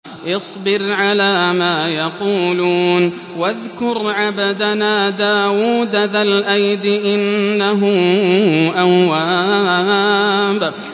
اصْبِرْ عَلَىٰ مَا يَقُولُونَ وَاذْكُرْ عَبْدَنَا دَاوُودَ ذَا الْأَيْدِ ۖ إِنَّهُ أَوَّابٌ